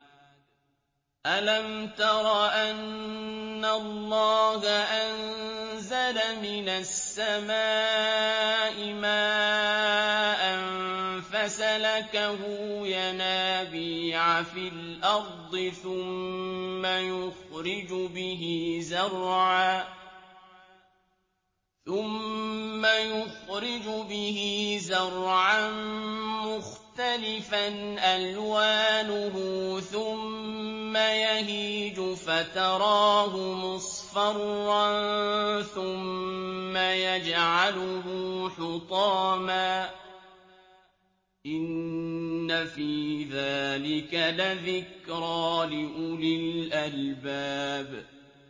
أَلَمْ تَرَ أَنَّ اللَّهَ أَنزَلَ مِنَ السَّمَاءِ مَاءً فَسَلَكَهُ يَنَابِيعَ فِي الْأَرْضِ ثُمَّ يُخْرِجُ بِهِ زَرْعًا مُّخْتَلِفًا أَلْوَانُهُ ثُمَّ يَهِيجُ فَتَرَاهُ مُصْفَرًّا ثُمَّ يَجْعَلُهُ حُطَامًا ۚ إِنَّ فِي ذَٰلِكَ لَذِكْرَىٰ لِأُولِي الْأَلْبَابِ